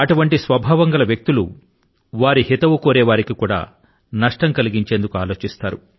అటువంటి స్వభావం గల వ్యక్తులు వారి హితవు కోరే వారికి కూడా నష్టం కలిగించేందుకు ఆలోచిస్తారు